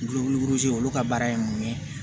olu ka baara ye mun ye